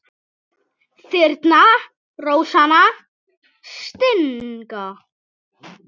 Þyrnar rósanna stinga.